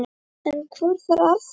En hvor þeirra er það?